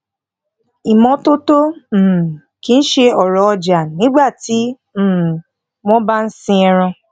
ìmótótó um kì ṣe òrò ọjà nígbà tí um wón bá sin ẹran